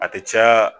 A tɛ caya